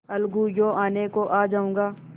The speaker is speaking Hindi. अलगूयों आने को आ जाऊँगा